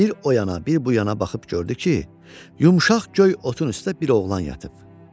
Bir oyana, bir buyana baxıb gördü ki, yumşaq göy otun üstə bir oğlan yatıb.